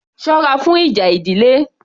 Sọ́ra fún ìjà ìdílé